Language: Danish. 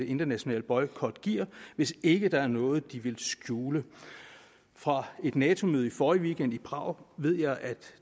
internationale boykot giver hvis ikke der er noget de vil skjule fra et nato møde i forrige weekend i prag ved jeg at